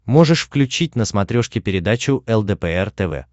можешь включить на смотрешке передачу лдпр тв